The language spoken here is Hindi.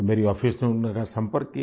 तो मेरी ऑफिस ने उनके साथ संपर्क किया